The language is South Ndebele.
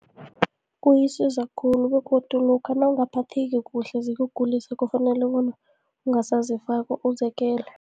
Kuyisiza khulu, begodu lokha nawungaphatheki kuhle zikugulisa, kufanele bona ungasazifaka uziyekele.